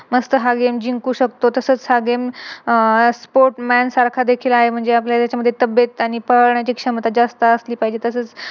मस्त हा Game जिंकू शकतो. तसच हा Game आह Sportsman देखील आहे म्हणजे आपले याचे मध्ये तबियत आणि पाण्याची क्षमता जास्त असली पाहिजे